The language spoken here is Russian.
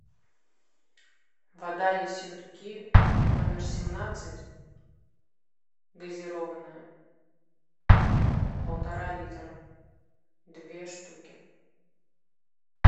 вода ессентуки номер семнадцать газированная полтора литра две штуки